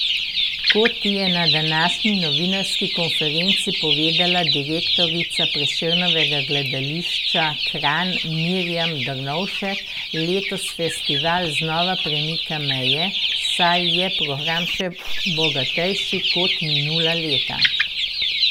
Kot je na današnji novinarski konferenci povedala direktorica Prešernovega gledališča Kranj Mirjam Drnovšček, letos festival znova premika meje, saj je program še bogatejši kot minula leta.